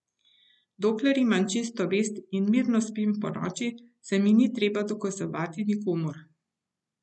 Dokler imam čisto vest in mirno spim ponoči, se mi ni treba dokazovati nikomur.